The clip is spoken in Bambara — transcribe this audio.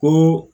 Ko